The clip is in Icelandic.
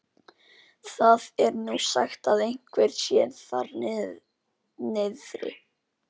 Það er nú sagt að eitthvað sé þar niðri.